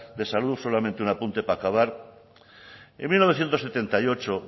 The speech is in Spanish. de salud solamente un apunte para acabar en mil novecientos setenta y ocho